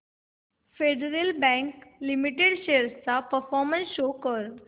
federal bank limited shares चा performance show कर